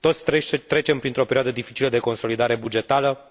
Toți trecem printr o perioadă dificilă de consolidare